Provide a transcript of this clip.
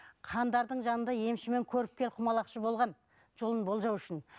хандардың жанында емші мен көріпкел құмалақшы болған жолын болжау үшін